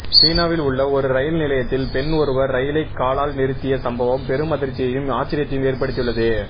சீனாவில் உள்ள ஒரு ரயில் நிலையத்தில் பெண் ஒருவர் ரயிலை காலால் நிறுத்திய சம்பவம் பெரும் அதிர்ச்சியையும் ஆச்சரியத்தையும் ஏற்படுத்தியுள்ளது